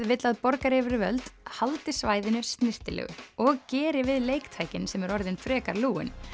vill að borgaryfirvöld haldi svæðinu snyrtilegu og geri við leiktækin sem eru orðin frekar lúin